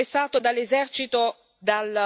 e dalla mobilitazione popolare.